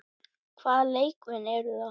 Hvaða leikmenn eru það?